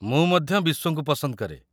ମୁଁ ମଧ୍ୟ ବିସ୍ୱଙ୍କୁ ପସନ୍ଦକରେ।